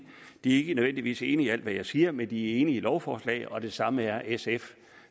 de ikke nødvendigvis er enige i alt hvad jeg siger men de er enige i lovforslaget og det samme er sf